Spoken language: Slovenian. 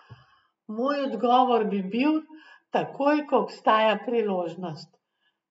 Moj odgovor bi bil, takoj, ko obstaja priložnost.